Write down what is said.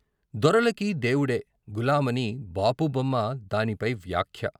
దొరలకి దేవుడే గులామని బాపు బొమ్మ, దానిపై వ్యాఖ్య.